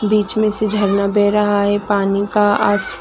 बीच में से झरना बेह रहा है पानी का आस--